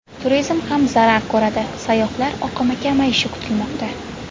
Turizm ham zarar ko‘radi, sayyohlar oqimi kamayishi kutilmoqda.